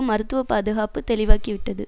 மருத்துவ பாதுகாப்பு தெளிவாக்கிவிட்டது